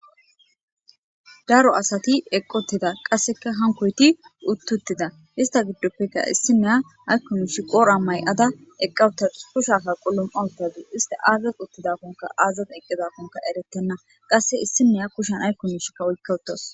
daro asati eqqottida qasseka hankoyti uttuttida ista giddoppeka issineya aykkunshi qoora may7ada eqqawuta kushafa qullom awtagi ista aazas uttidakonka aazat eqqizakonka eretenna qasse issineya kushanay kunishi kawoy kawuttas.